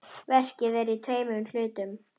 Verkið er í tveimur hlutum.